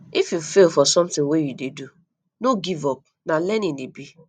if you fail for something wey you dey do no give up na learning e be